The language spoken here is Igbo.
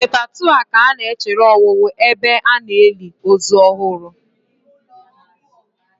Na fetha2 a ka na-echere owuwu ebe a na-eli ozu ọhụrụ.